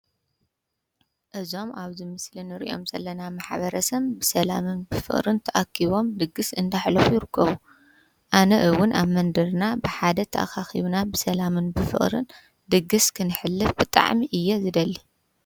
እዞም ኣብዝ ምስልን ርእዮም ዘለና ማኃበረሰም ብሰላምን ብፍቕርን ተኣኪቦም ድግሥ እንዳሕለፉ ይርከቡ ኣነ እውን ኣብ መንድርና ብሓደ ተኣኻኺቡና ብሰላምን ብፍቕርን ድግሥ ክንሕልፍ ብጥዕሚ እየ ዝደሊ።